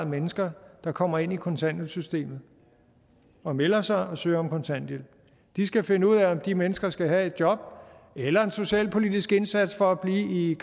mennesker der kommer ind i kontanthjælpssystemet og melder sig og søger om kontanthjælp de skal finde ud af om de mennesker skal have et job eller en socialpolitisk indsats for at blive